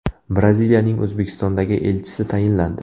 Braziliyaning O‘zbekistondagi elchisi tayinlandi.